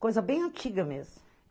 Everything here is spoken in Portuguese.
Coisa bem antiga mesmo.